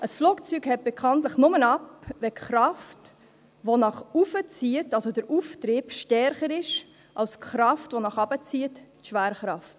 Ein Flugzeug hebt bekanntlich nur ab, wenn die Kraft, die nach oben zieht, also der Auftrieb, stärker ist als die Kraft, die nach unten zieht, die Schwerkraft.